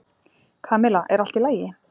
Kamilla, er allt í lagi?